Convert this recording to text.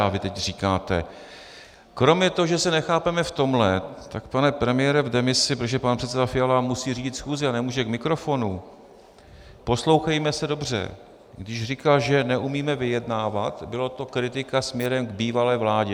A vy teď říkáte - kromě toho, že se nechápeme v tomhle, tak pane premiére v demisi, protože pan předseda Fiala musí řídit schůzi a nemůže k mikrofonu, poslouchejme se dobře, když říkal, že neumíme vyjednávat, byla to kritika směrem k bývalé vládě.